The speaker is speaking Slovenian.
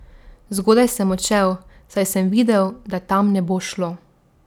Zgodaj sem odšel, saj sem videl, da tam ne bo šlo.